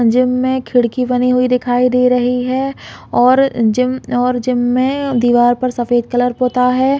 Gym में खिड़की बनी हुई दिखाई दे रही है और जिम और जिम में दीवार पर सफ़ेद कलर पुता हैं।